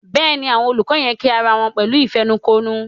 Béèni Àwọn ololufẹ yén kí àrà wón pẹ̀lú ìfẹnukonu.